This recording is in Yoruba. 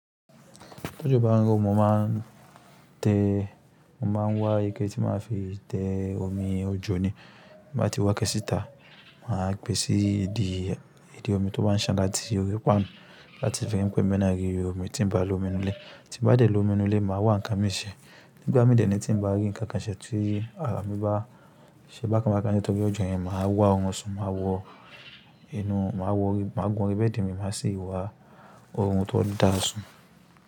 Ti òjò bá ń rọ̀, mọ máa n tẹ, ọmọ máa ń wá ike tí màá fi tẹ omi òjò ni. Bí n bá ti wá iké síta, màá gbèsì ìdí, ìdí omi tó bá ń sàn la ti orí pan láti fi rí pé emina rí omi tí ń bá lómi nínú ilé. Tí n bá dé lómi nínú ilé, màá wá nǹkan mi ṣe. Nígbà mí dèé ni tí ń bá rí nǹkan kan ṣẹ́ tí ara mi bá ṣẹ́ bá ka kán ni torí ọjọ́ yẹn máa wá ọmọ kan sún. Máa wọ inú, máa wọ, máa gun orí bẹ́ẹ̀dì mi, máa sì wá orun tó dáa sún.